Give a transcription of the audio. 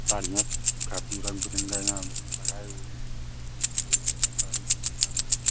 साडियाँ काफी रंग-बिरंगा यहाँ पे लगाए हुवे हैं। एक साड़ी की दुकान लग रही --